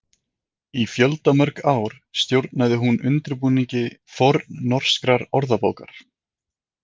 Í fjöldamörg ár stjórnaði hún undirbúningi fornnorskrar orðabókar.